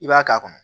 I b'a k'a kɔnɔ